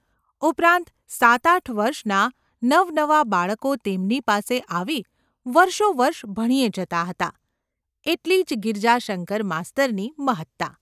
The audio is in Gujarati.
ઉપરાંત સાતઆઠ વર્ષનાં નવનવાં બાળકો તેમની પાસે આવી વર્ષો વર્ષ ભણ્યે જતાં હતાં એટલી જ ગિરજાશંકર માસ્તરની મહત્તા.